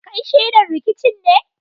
Kai shaida rikicin ne?